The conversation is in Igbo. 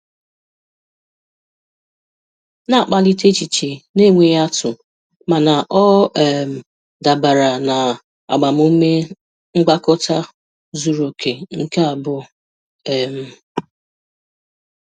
Na-akpalite echiche na-enweghị atụ mana ọ um dabara na agbamume. Ngwakọta zuru oke nke abụọ!! um